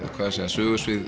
sögusvið